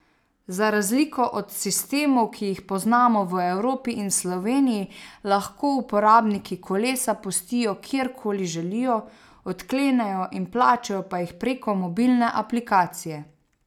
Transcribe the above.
Za razliko od sistemov, ki jih poznamo v Evropi in Sloveniji, lahko uporabniki kolesa pustijo kjerkoli želijo, odklenejo in plačajo pa jih preko mobilne aplikacije.